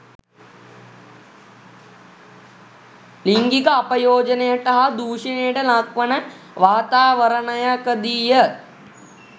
ලිංගික අපයෝජනයට හා දුෂණයට ලක්වන වාතාවරණයකදීය.